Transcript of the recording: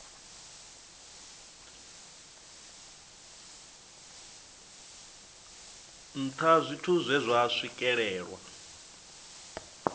nṱha zwithu zwe zwa swikelelwa